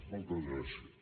moltes gràcies